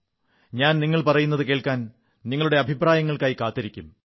ഞാൻ നിങ്ങൾ പറയുന്നതു കേൾക്കാൻ നിങ്ങളുടെ അഭിപ്രായങ്ങൾക്കായി കാത്തിരിക്കും